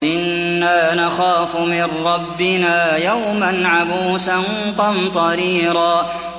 إِنَّا نَخَافُ مِن رَّبِّنَا يَوْمًا عَبُوسًا قَمْطَرِيرًا